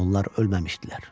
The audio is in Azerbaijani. Onlar ölməmişdilər.